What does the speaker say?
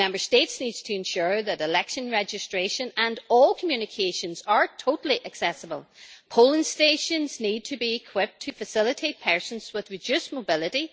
Member States need to ensure that election registration and all communications are totally accessible polling stations need to be equipped to facilitate persons with reduced mobility